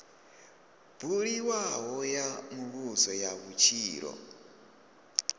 buliwaho ya muvhuso ya vhutshilo